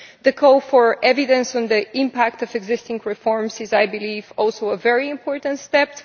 The call for evidence on the impact of existing reforms is, I believe, also a very important step.